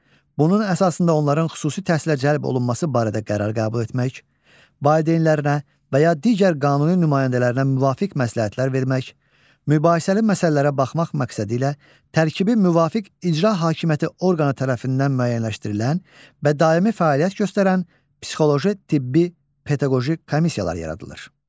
Bunun əsasında onların xüsusi təhsilə cəlb olunması barədə qərar qəbul etmək, valideynlərinə və ya digər qanuni nümayəndələrinə müvafiq məsləhətlər vermək, mübahisəli məsələlərə baxmaq məqsədilə tərkibi müvafiq icra hakimiyyəti orqanı tərəfindən müəyyənləşdirilən və daimi fəaliyyət göstərən psixoloji, tibbi, pedaqoji komissiyalar yaradılır.